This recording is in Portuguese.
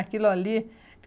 Aquilo ali.